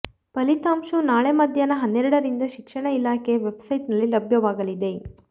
ಫಲಿತಾಂಶವು ನಾಳೆ ಮಧ್ಯಾಹ್ನ ಹನ್ನೆರಡರಿಂದ ಶಿಕ್ಷಣ ಇಲಾಖೆಯ ವೆಬ್ಸೈಟ್ ನಲ್ಲಿ ಲಭ್ಯವಾಗಲಿದೆ